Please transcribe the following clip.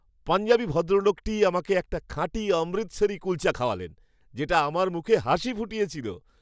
পাঞ্জাবি ভদ্রলোকটি আমাকে একটা খাঁটি অমৃতসারি কুলচা খাওয়ালেন, যেটা আমার মুখে হাসি ফুটিয়েছিল।